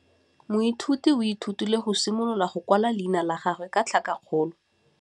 Moithuti o ithutile go simolola go kwala leina la gagwe ka tlhakakgolo.